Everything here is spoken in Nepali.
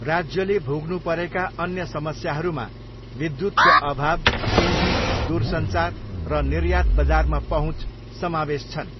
राज्यले भोग्नु परेका अन्य समस्याहरूमा विद्युतको अभाव, पुँजी, दूरसञ्चार र निर्यात बजारमा पहुँच समावेश छन्।